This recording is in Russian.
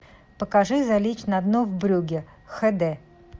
покажи залечь на дно в брюгге хд